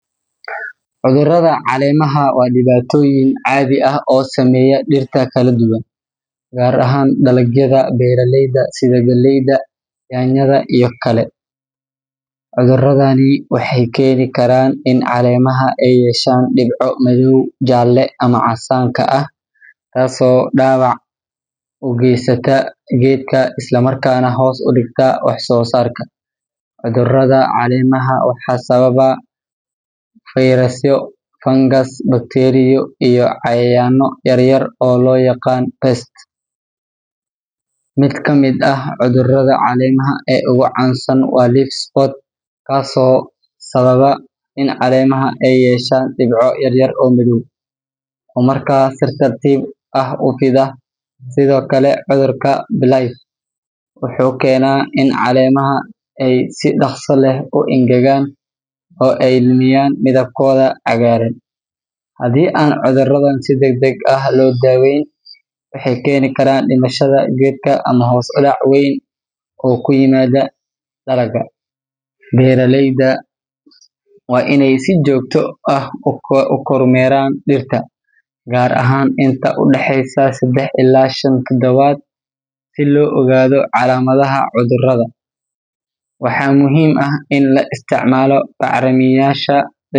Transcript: Cudurrada caleemaha waa dhibaatooyin caadi ah oo saameeya dhirta kala duwan, gaar ahaan dalagyada beeraleyda sida galleyda, yaanyada, iyo kale. Cudurradani waxay keeni karaan in caleemaha ay yeeshaan dhibco madow, jaalle, ama casaanka ah, taasoo dhaawac u geysata geedka isla markaana hoos u dhigta wax soo saarka. Cudurrada caleemaha waxaa sababa fayrasyo, fangas, bakteeriyo iyo cayayaanno yar yar oo loo yaqaan pests. Mid ka mid ah cudurrada caleemaha ee ugu caansan waa leaf spot, kaas oo sababa in caleemaha ay yeeshaan dhibco yaryar oo madow oo markaa si tartiib tartiib ah u fidda. Sidoo kale, cudurka blight wuxuu keenaa in caleemaha ay si dhaqso leh u engegaan oo ay lumiyaan midabkooda cagaaran. Haddii aan cudurradan si degdeg ah loo daaweyn, waxay keeni karaan dhimashada geedka ama hoos u dhac weyn oo ku yimaada dalagga. Beeraleyda waa inay si joogto ah u kormeeraan dhirta, gaar ahaan inta u dhaxaysa saddex ilaa shan toddobaad si loo ogaado calaamadaha cudurrada. Waxaa muhiim ah in la isticmaalo bacrimiyeyaasha dabiicig.